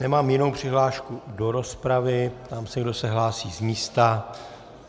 Nemám jinou přihlášku do rozpravy, ptám se, kdo se hlásí z místa.